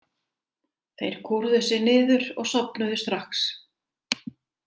Þeir kúrðu sig niður og sofnuðu strax.